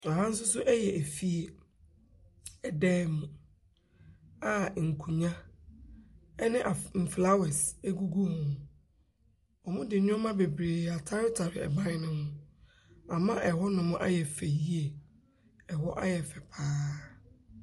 Aha nso so yɛ efie. ℇdan mu a nkonnwa ne af mflawas gugu ho. Wɔde nneɛma bebiree ataretare ɛban no ho. Ama ɛhɔnom ayɛ fɛ yie. ℇhɔ ayɛ fɛ pa ara.